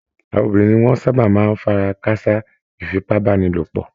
Àwọn obìnrin ni wọ́n sáábà máa ń fara káásá ìfipábánilòpọ̀